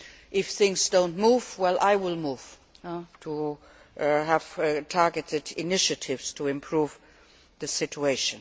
If things do not move, I will move to have targeted initiatives to improve the situation.